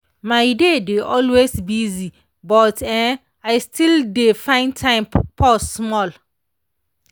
my day dey always busy but[um]i still dey find time pause small.